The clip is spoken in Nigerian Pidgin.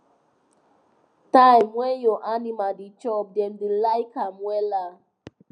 time when your animal da chop dem da like am wella